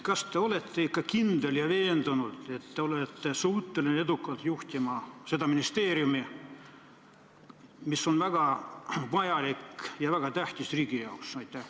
Kas te olete ikka kindel ja veendunud, et te olete suuteline edukalt juhtima seda ministeeriumi, mis on riigile väga vajalik ja väga tähtis?